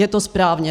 Je to správně.